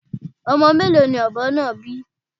Ọmọ mélòó ni ọ̀bọ náà bí?